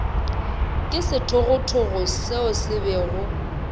ke sethogothogo seo se bego